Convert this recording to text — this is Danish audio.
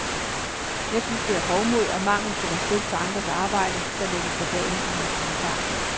Jeg synes, det er hovmod og mangel på respekt for andres arbejde, der lægges for dagen i hans kommentar.